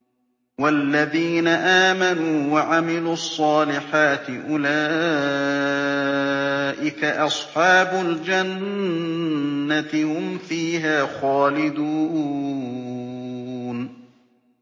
وَالَّذِينَ آمَنُوا وَعَمِلُوا الصَّالِحَاتِ أُولَٰئِكَ أَصْحَابُ الْجَنَّةِ ۖ هُمْ فِيهَا خَالِدُونَ